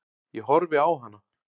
Ég horfi á hana.